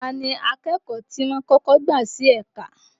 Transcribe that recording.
Ta ni akẹ́kọ̀ọ́ ti wọ́n kọ́kọ́ gbà sí ẹ̀ka?